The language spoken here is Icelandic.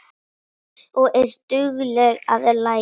Og er dugleg að læra.